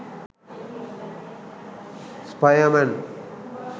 spierman